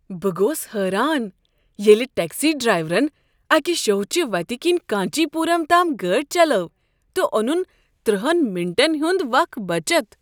بہٕ گوس حٲران ییٚلہ ٹٮ۪کسی ڈرٛایورن اکہ شھوچہِ وتہِ كِنۍ کانچی پوٗرم تام گٲڈِ چلٲو تہِ اونُن ترہَن مِنٹن ہُنٛد وق بچت۔